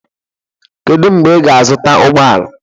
Kedu mgbe ị ga-azụta ụgbọ ala?